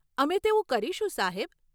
અમે તેવું કરીશું, સાહેબ.